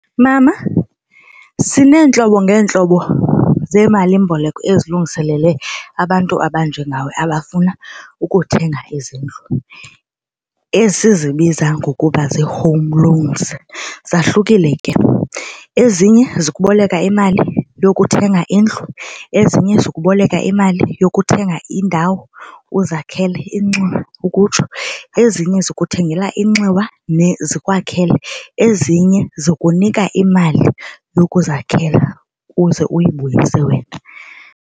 Mama sineentlobo ngeentlobo zeemalimboleko ezilungiselele abantu abanjengawe abafuna ukuthenga izindlu esizibiza ngokuba zii-home loans. Zahlukile ke, ezinye zikuboleka imali yokuthenga indlu ezinye zikuboleka imali yokuthenga indawo uzakhele inxiwa ukutsho ezinye zikuthengela inxiwa zikwakhele ezinye zikunika imali yokuzakhela ukuze uyibuyise wena.